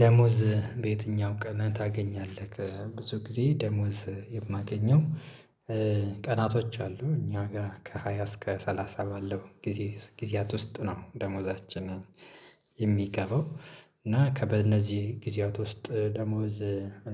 ደሞዝ በየትኛው ቀንህ ታገኛለህ? ብዙ ጊዜ ደሞዝ የማገኘው ቀናቶች አሉ እኛ ጋር ከሃያ እስከ ሰላሳ ባለው ጊዜ ጊዜያት ውስጥ ነው ደሞዛችንን የሚገባው እና በእነዚህ ጊዜያት ውስጥ ደሞዝ